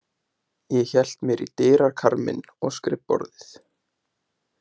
Ég held mér í dyrakarminn og skrifborðið.